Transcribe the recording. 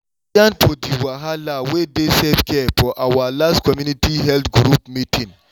we yan for di wahala wey dey self-care for our last community health group meeting.